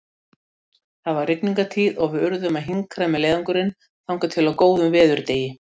Það var rigningartíð og við urðum að hinkra með leiðangurinn þangað til á góðum veðurdegi.